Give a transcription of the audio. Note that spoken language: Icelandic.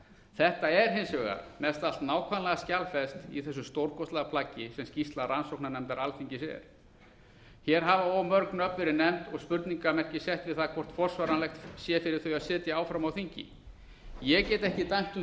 þetta er hins vegar mest allt nákvæmlega skjalfest í þessu stórkostlega plaggi sem skýrsla rannsóknarnefndar alþingis er hér hafa og mörg nöfn verið nefnd og spurningarmerki sett við það hvort forsvaranlegt sé fyrir þau að sitja áfram á þingi ég get ekki dæmt um